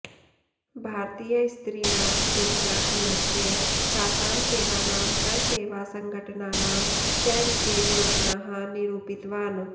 भारतीयस्त्रीणां विद्याभ्यास्य तासां सेवानां स्वसेवासङ्घटनानां च विषये योजनाः निरूपितवान्